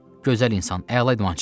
Gözəl insan, əla idmançıdır.